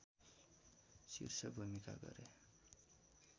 शीर्ष भूमिका गरे